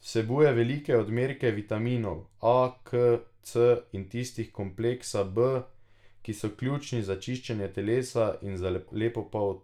Vsebuje velike odmerke vitaminov A, K, C in tistih kompleksa B, ki so ključni za čiščenje telesa in za lepo polt.